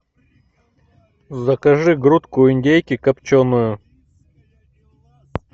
закажи грудку индейки копченую